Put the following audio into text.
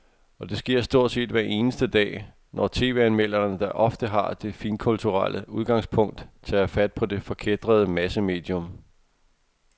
Og det sker stort set hver eneste dag, når tv-anmelderne, der ofte har det finkulturelle udgangspunkt, tager fat på det forkætrede massemedium.